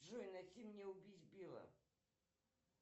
джой найди мне убить билла